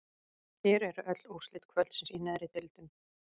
Hér eru öll úrslit kvöldsins í neðri deildum: